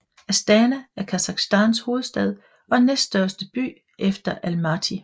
Astana er Kasakhstans hovedstad og næststørste by efter Almaty